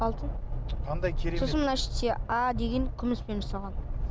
алтын қандай керемет сосын мына іште а деген күміспен жасалған